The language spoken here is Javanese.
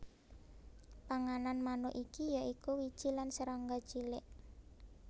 Panganan manuk iki ya iku wiji lan serangga cilik